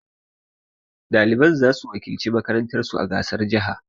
Ɗaliban za su wakilci makarantar su a gasar jaha